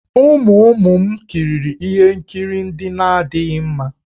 Ụmụ ụmụ m kiriri ihe nkiri ndị na-adịghị mma.